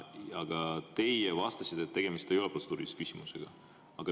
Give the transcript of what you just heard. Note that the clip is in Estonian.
Aga teie vastasite, et tegemist ei ole protseduurilise küsimusega.